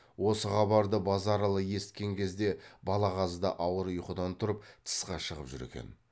осы хабарды базаралы есіткен кезде балағаз да ауыр ұйқыдан тұрып тысқа шығып жүр екен